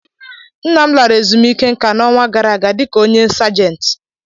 Nna m lara ezumike nka n'ọnwa gara aga di ka onye sajent